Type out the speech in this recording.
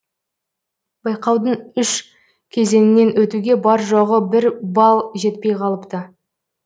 байқаудың үш кезеңінен өтуге бар жоғы бір балл жетпей қалыпты